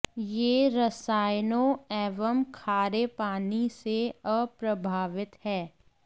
यह रसायनों एवं खारे पानी से अप्रभावित है